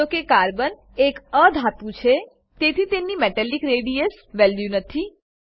જો કે કાર્બન એ એક અધાતુ છે તેથી તેની મેટાલિક રેડિયસ વેલ્યુ નથી